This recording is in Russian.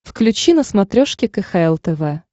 включи на смотрешке кхл тв